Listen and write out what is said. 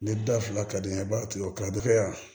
Ni da fila ka di n ye i b'a to yen kadɔkɛ yan